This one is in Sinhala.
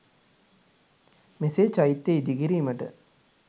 මෙසේ චෛත්‍ය ඉදිකිරීමට